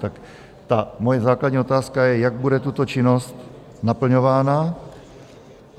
Tak ta moje základní otázka je, jak bude tato činnost naplňována?